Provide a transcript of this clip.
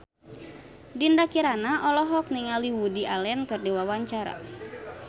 Dinda Kirana olohok ningali Woody Allen keur diwawancara